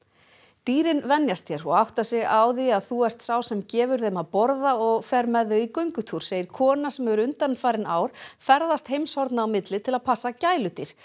dýrin venjast þér og átta sig á því að þú ert sá sem gefur þeim að borða og ferð með þau í göngutúr segir kona sem hefur undanfarin ár ferðast heimshorna á milli til að passa gæludýr